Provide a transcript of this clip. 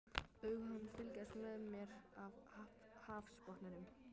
Augu hans fylgjast með mér af hafsbotninum.